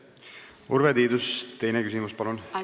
Urve Tiidus, teine küsimus, palun!